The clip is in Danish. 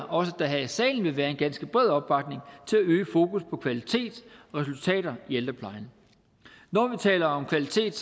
også her i salen vil være en ganske bred opbakning til at øge fokus på kvalitet og resultater i ældreplejen når vi taler om kvalitet